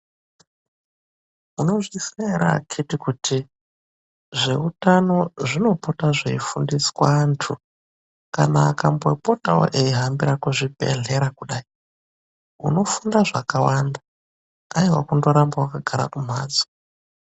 Munozviziya ere akhiti kuti zveutano zvinopota zveifundiswa anthu. Kana akambopotawo eihambira kuzvibhedhlera kudai, unofunda zvakawanda. Haiwa kundoramba wakagara kumphatso.